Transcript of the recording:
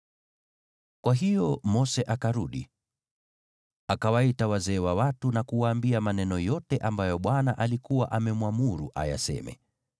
Kwa hiyo Mose akarudi, akawaita wazee wa watu na kuwaambia maneno yote ambayo Bwana alikuwa amemwamuru ayaseme.